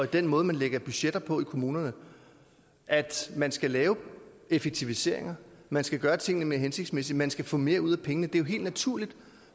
den måde man lægger budgetter på i kommunerne at man skal lave effektiviseringer at man skal gøre tingene mere hensigtsmæssigt at man skal få mere ud af pengene det er jo helt naturligt